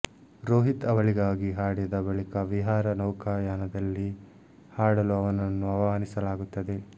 ರೋಹಿತ್ ಅವಳಿಗಾಗಿ ಹಾಡಿದ ಬಳಿಕ ವಿಹಾರ ನೌಕಾಯಾನದಲ್ಲಿ ಹಾಡಲು ಅವನನ್ನು ಆಹ್ವಾನಿಸಲಾಗುತ್ತದೆ